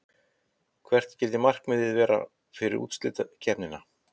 Hvert skyldi markmiðið vera fyrir úrslitakeppnina?